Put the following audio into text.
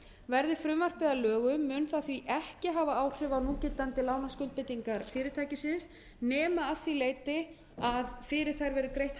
verði frumvarpið að lögum á það því ekki hafa áhrif á núgildandi lánaskuldbindingar fyrirtækisins nema að því leyti að fyrir þær verði greitt